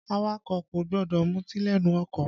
Awakọ̀ kò gbọdọ̀ muti lẹ́nu ọkọ̀